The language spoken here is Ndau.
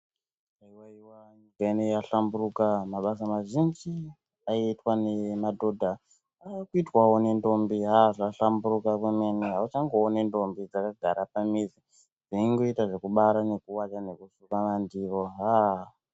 Haiwaiwa nyika inei yahlamburuka mabasa mazhinji aiitwa nemadhodha akuitwawo nedhombi, ha-a zvahlamburuka kwemene auchangooni ndombi dzakagara pamizi dzeingoita zvekubara, nekuwacha nekusuka mandiro ha-a.